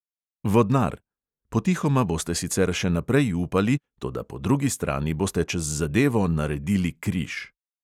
Vodnar: potihoma boste sicer še naprej upali, toda po drugi strani boste čez zadevo naredili križ.